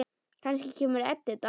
Kannski kemur Edita.